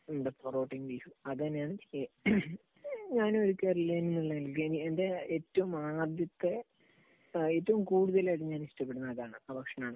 എന്താ, പൊറോട്ടയും ബീഫും. അതുതന്നെയാണ് ഞാനും ഒരു കേരളീയൻ എന്ന നിലയ്ക്ക് എന്റെ ഏറ്റവും ആദ്യത്തെ ഏറ്റവും കൂടുതൽ അതുഞാൻ ഇഷ്ടപ്പെടുന്നത് അതാണ്, ആ ഭക്ഷണം ആണ്.